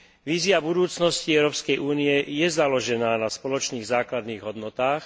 Vízia budúcnosti Európskej únie je založená na spoločných základných hodnotách.